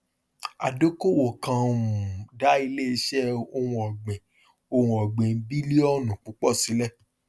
adókòwò kan um dá ilé iṣẹ ohun ọgbìn ohun ọgbìn bílíọnù púpọ sílẹ